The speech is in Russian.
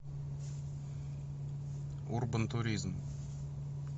урбан туризм